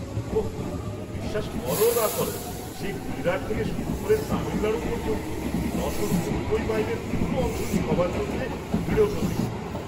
ওঃ, বিশ্বাস কর না কর, সে গুজরাট থেকে শুরু করে তামিলনাড়ু পর্যন্ত নশো নব্বই মাইলের পুরো অংশটি কভার করতে দৃঢ়প্রতিজ্ঞ।